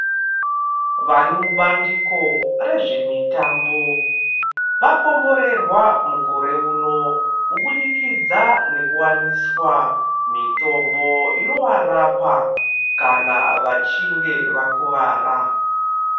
Varimubandiko rezvemitambo vakomborerwa mukore uno kubudikidza nekuwaniswa mitombo inowarapa kana vachinge vakuvara .